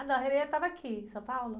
Ah, não, a estava aqui, em São Paulo?